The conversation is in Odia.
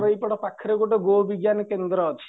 ଏପଟେ ପାଖରେ ଗୋଟେ ଗୋ ବିଜ୍ଞାନ କେନ୍ଦ୍ର ଅଛି